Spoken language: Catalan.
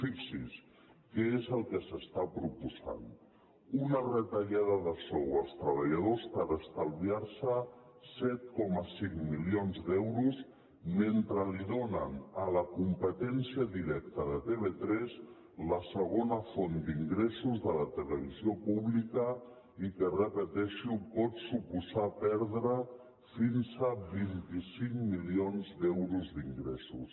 fixi’s què és el que s’està proposant una retallada de sou als treballadors per estalviar se set coma cinc milions d’euros mentre li donen a la competència directa de tv3 la segona font d’ingressos de la televisió pública i que ho repeteixo pot suposar perdre fins a vint cinc milions d’euros d’ingressos